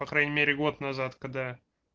по крайней мере год назад когда